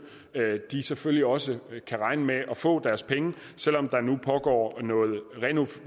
selvfølgelig også kan regne med at få deres penge selv om der nu pågår